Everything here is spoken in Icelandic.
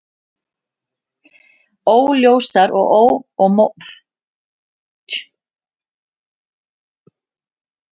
Óljósar og mótsagnakenndar heimildir eru um hvernig Íslendingar tóku þessari nýjung.